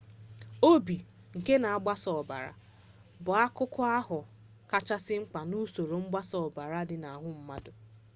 obi nke na-agbasa ọbara bụ akụkụ ahụ kachasị mkpa n'usoro mgbasa ọbara dị n'ahụ mmadụ